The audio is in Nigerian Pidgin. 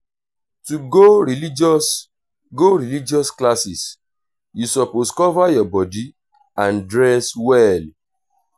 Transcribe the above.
to go religious go religious classes you suppose cover your body and dress well